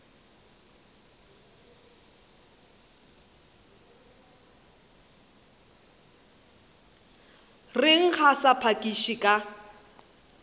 reng a sa phakiše ka